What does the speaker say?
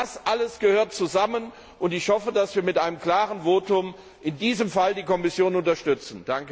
Das alles gehört zusammen, und ich hoffe, dass wir mit einem klaren Votum in diesem Fall die Kommission unterstützen.